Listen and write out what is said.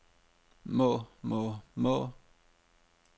må må må